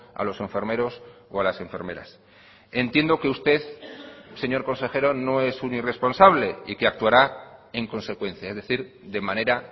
a los enfermeros o a las enfermeras entiendo que usted señor consejero no es un irresponsable y que actuará en consecuencia es decir de manera